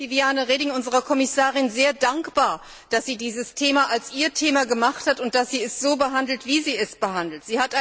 Ich bin Viviane Reding, unserer Kommissarin, sehr dankbar, dass sie dieses Thema zu ihrem Thema gemacht hat und dass sie es so behandelt, wie sie es behandelt.